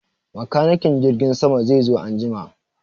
Makanikin jirgin sama zai zo an jima.